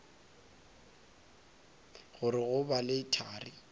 gore go ba le thari